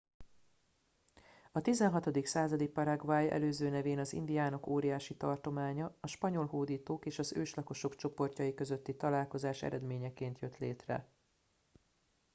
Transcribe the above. a 16. századi paraguay előző nevén az indiánok óriási tartománya a spanyol hódítók és az őslakosok csoportjai közötti találkozás eredményeként jött létre